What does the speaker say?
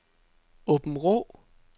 Aabenraa